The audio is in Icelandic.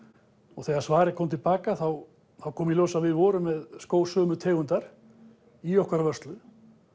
og þegar svarið kom til baka þá kom í ljós að við vorum með skó sömu tegundar í okkar vörslu